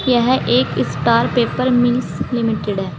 यह एक Star Paper Mills Limited है।